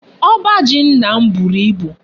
Oba ji nna m buru ibu